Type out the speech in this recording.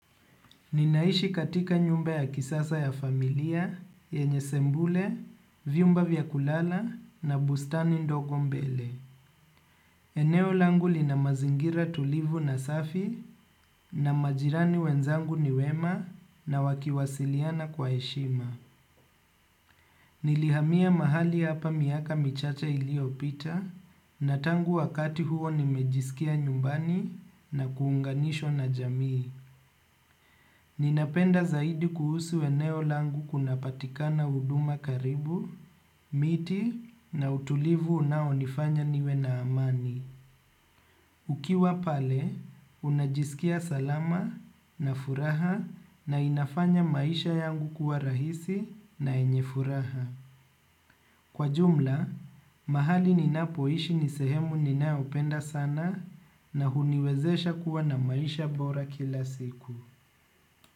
Ninaishi katika nyumba ya kisasa ya familia, yenye sebule, vyumba vya kulala na bustani ndogo mbele. Eneo langu lina mazingira tulivu na safi na majirani wenzangu ni wema na wakiwasiliana kwa heshima. Nilihamia mahali hapa miaka michacha iliyopita na tangu wakati huo nimejisikia nyumbani na kuunganishwa na jamii. Ninapenda zaidi kuhusu eneo langu kunapatikana huduma karibu, miti na utulivu unaonifanya niwe na amani. Ukiwa pale, unajisikia salama na furaha na inafanya maisha yangu kuwa rahisi na yenye furaha. Kwa jumla, mahali ninapoishi ni sehemu ninayopenda sana na huniwezesha kuwa na maisha bora kila siku.